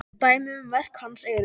Dæmi um verk hans eru